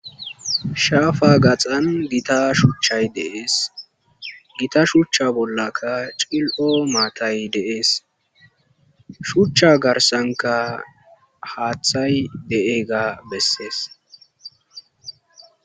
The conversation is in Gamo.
shaafa gaxan gita shuchchay deees gita shuchcha bollaka cil7o maatay deees shuchcha garsanka haaththay de7egga bessees